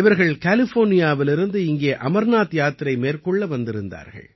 இவர்கள் கலிஃபோர்னியாவிலிருந்து இங்கே அமர்நாத் யாத்திரை மேற்கொள்ள வந்திருந்தார்கள்